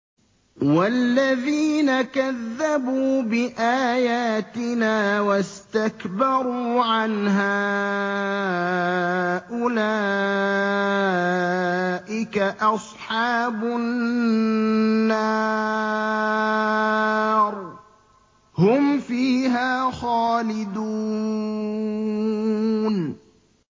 وَالَّذِينَ كَذَّبُوا بِآيَاتِنَا وَاسْتَكْبَرُوا عَنْهَا أُولَٰئِكَ أَصْحَابُ النَّارِ ۖ هُمْ فِيهَا خَالِدُونَ